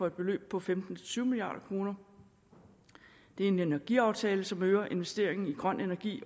et beløb på femten til tyve milliard kroner det er en energiaftale som øger investeringen i grøn energi